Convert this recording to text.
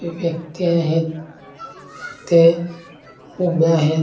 व्यक्ती आहेत ते उभ्या आहेत.